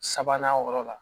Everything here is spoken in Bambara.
Sabanan yɔrɔ la